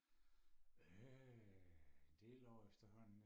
øh en del år efterhånden